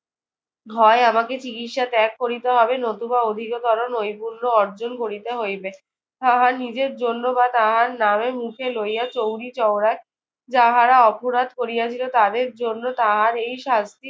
হয় আমাকে চিকিৎসা ত্যাগ করিতে হবে নতুবা অধিকতর নৈপুণ্য অর্জন করিতে হইবে। তাহা নিজের জন্য বা তাহার নামে মুখে লইয়া চৌরিচৌরায় যাহারা অপরাধ করিয়াছিল তাদের জন্য তাহার এই শাস্তি